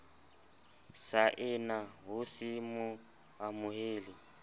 saena ho se mo amohe